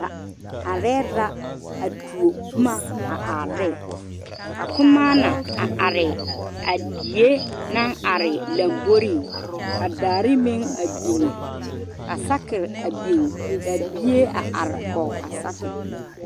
A are la a tuo boma a are ne ka kumaane a are a die naŋ are lanbore ka daare meŋ a biŋ ka saakere a biŋ ka bie are kɔge a saakere.